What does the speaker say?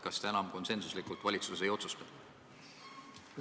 Kas te enam konsensuslikult valitsuses ei otsusta?